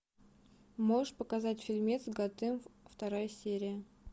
можешь показать фильмец готэм вторая серия